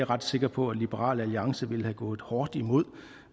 ret sikker på at liberal alliance ville have gået hårdt imod